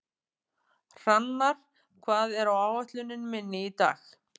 Hrannar, hvað er á áætluninni minni í dag?